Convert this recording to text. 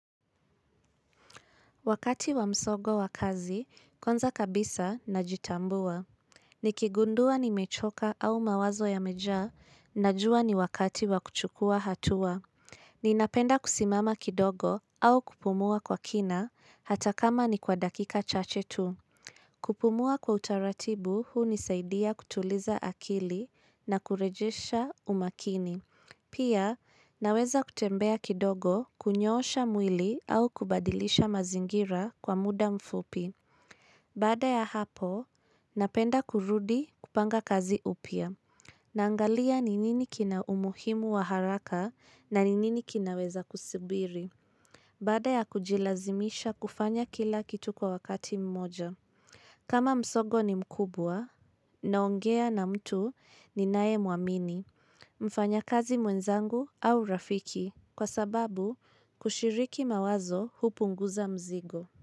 Wakati wa msogo wa kazi, kwanza kabisa najitambua. Nikigundua nimechoka au mawazo yamejaa najua ni wakati wa kuchukua hatua. Ninapenda kusimama kidogo au kupumua kwa kina hata kama ni kwa dakika chache tu. Kupumua kwa utaratibu huu unisaidia kutuliza akili na kurejesha umakini. Pia, naweza kutembea kidogo kunyoosha mwili au kubadilisha mazingira kwa muda mfupi. Baada ya hapo, napenda kurudi kupanga kazi upya. Naangalia ni nini kina umuhimu wa haraka na ni nini kinaweza kusibiri. Bada ya kujilazimisha kufanya kila kitu kwa wakati mmoja. Kama msogo ni mkubwa, naongea na mtu ninae muamini. Mfanyakazi mwenzangu au rafiki kwa sababu kushiriki mawazo hupunguza mzigo.